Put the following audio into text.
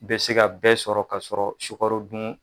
Bɛ se ka bɛɛ sɔrɔ ka sɔrɔ sukaro dun